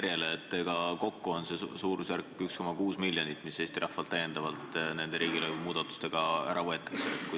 Kui sa meenutad ka esimest lugemist, siis kokku on see suurusjärk 1,6 miljonit, mis Eesti rahvalt täiendavalt nende riigilõivumuudatustega ära võetakse.